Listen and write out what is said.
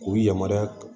K'u yamaruya